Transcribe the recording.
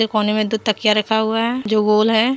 कोने में दो तकिया रखा हुआ है जो गोल है।